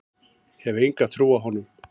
Hef enga trú á honum.